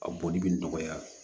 A boli bɛ nɔgɔya